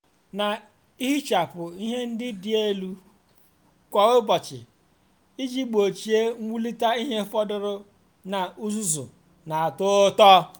na-ehichapụ ihe ndị dị n'elu kwa ụbọchị iji gbochie mwulite ihe fọdụrụ na uzuzu na-atọ ụtọ.